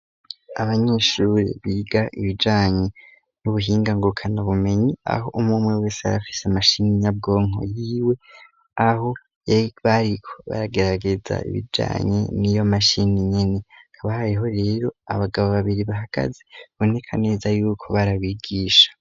Abanyeshure biga ibijanye n'ubuhinga ngo kanau bumenyi aho umumwe wese aba afise mashini nyabwonko yiwe aho bariko baragerageza ibijanye niyo mashini nyeni hakaba hariho rero abagabo babiri bahagaze baboneka neza yuko ari abigisha.